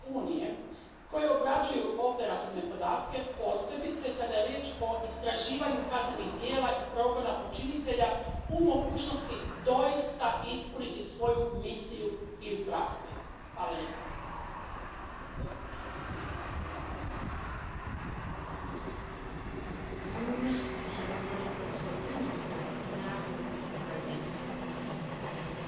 Or, cette transposition est une bonne chose car les institutions de l'Union doivent montrer l'exemple et accepter de s'appliquer à elles mêmes ces règles de protection de la vie privée des individus. Car c'est bien cela l'objet de ce texte il s'agit d'obliger les institutions de l'Union à respecter l'indispensable protection des données personnelles des individus, au même titre que les États membres.